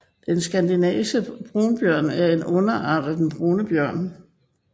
Den skandinaviske brunbjørn er en underart af den brune bjørn